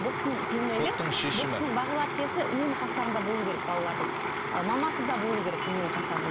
бұл кісінің бұл кісінің бағила әпкесі үнемі қастарында болуы керек балалардың ы мамасы да болуы керек үнемі қастарында